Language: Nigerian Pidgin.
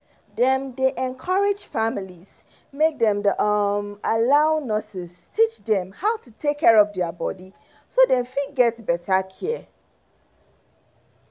dem dey encourage families make dem um allow nurses teach dem how to take care of their body so dem fit get better care